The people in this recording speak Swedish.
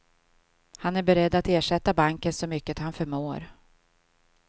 Han är beredd att ersätta banken så mycket han förmår.